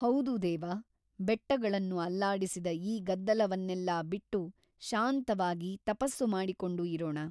ಹೌದು ದೇವ ಬೆಟ್ಟಗಳನ್ನು ಅಲ್ಲಾಡಿಸಿದ ಈ ಗದ್ದಲವನ್ನೆಲ್ಲಾ ಬಿಟ್ಟು ಶಾಂತವಾಗಿ ತಪಸ್ಸು ಮಾಡಿಕೊಂಡು ಇರೋಣ.